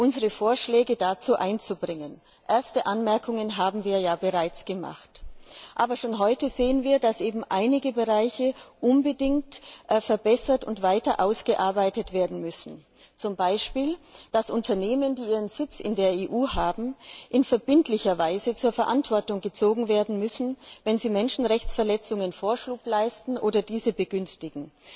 unsere Vorschläge dazu einzubringen. Erste Anmerkungen haben wir ja bereits gemacht. Aber schon heute sehen wir, dass einige Bereiche unbedingt verbessert und weiter ausgearbeitet werden müssen zum Beispiel, dass Unternehmen, die ihren Sitz in der EU haben, in verbindlicher Weise zur Verantwortung gezogen werden müssen, wenn sie Menschenrechtsverletzungen Vorschub leisten oder diese begünstigen.